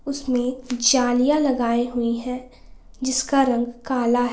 इसमें जालिया लगाई हुई है जिसका रंग काला है।